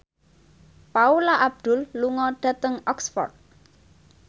Paula Abdul lunga dhateng Oxford